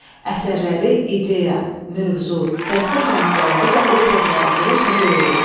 Əsərləri ideya, mövzu, təsvir vasitələri və obrazlara görə təhlil edirsən.